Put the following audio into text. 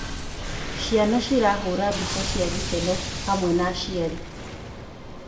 Ciana cirahũra mbica cia gĩkeno hamwe na aciari.